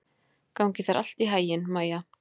Gangi þér allt í haginn, Maía.